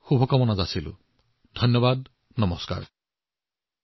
এই ইচ্ছাৰ সৈতে আপোনালোক সকলোকে আকৌ এবাৰ আগন্তুক উৎসৱৰ বাবে অশেষ অভিনন্দন জনাইছে